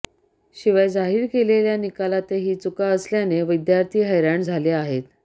शिवाय जाहीर केलेल्या निकलातही चुका असल्याने विद्यार्थी हैराण झाले आहेत